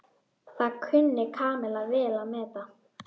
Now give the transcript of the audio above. Það kunni Kamilla vel að meta.